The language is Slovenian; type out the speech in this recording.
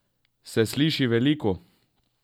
Se sliši veliko?